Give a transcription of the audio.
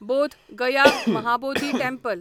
Bodh Gaya Mahabodhi temple